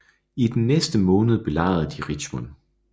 I den næste måned belejrede de Richmond